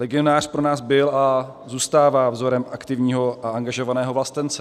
Legionář pro nás byl a zůstává vzorem aktivního a angažovaného vlastence.